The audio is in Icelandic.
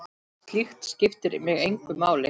Slíkt skiptir mig engu máli.